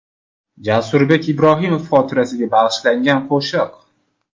Jasurbek Ibrohimov xotirasiga bag‘ishlangan qo‘shiq.